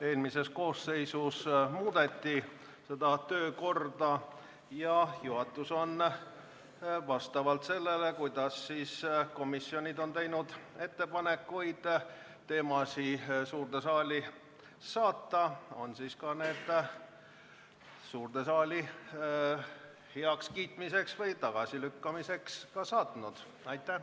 Eelmises koosseisus seda töökorda muudeti ja juhatus on päevakorra koostanud vastavalt sellele, kuidas komisjonid on teinud ettepanekuid teemasid suurde saali heakskiitmiseks või tagasilükkamiseks saata.